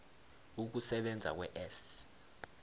ukusebenza kwe s